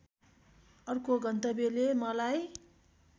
अर्को गन्तव्यले मलाई